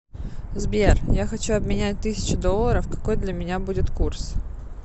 сбер я хочу обменять тысячу долларов какой для меня будет курс